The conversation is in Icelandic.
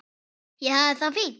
Ég hafði það fínt.